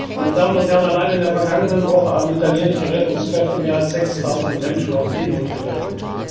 Meine Damen und Herren, allein in der vergangenen Woche haben italienische Rettungskräfte mehr als 6000 Menschen aus Seenot gerettet.